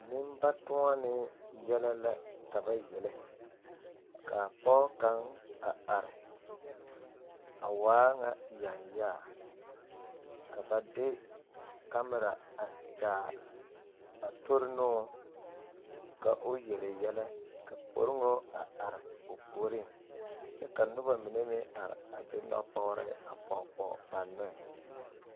Nenbatoɔnee yɛlɛ la ka ba yele ka pɔge kaŋ a are a waa ŋa yanyaa ka ba de kamera a kyaare a tori ne o ka o yele yɛlɛ ka poriŋo a are o puoriŋ kyɛ ka noba mine meŋ are a de nɔpɔgre a pɔge pɔge ba nɔɛ.